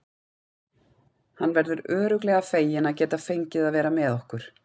Hann verður örugglega feginn að geta fengið að vera með okkur.